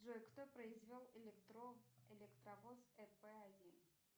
джой кто произвел электровоз эп один